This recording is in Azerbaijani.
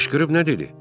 Qışqırıb nə dedi?